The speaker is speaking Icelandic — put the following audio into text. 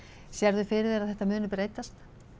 sérðu fyrir þér að þetta muni breytast